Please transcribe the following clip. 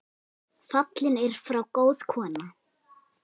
Fallin er frá góð kona.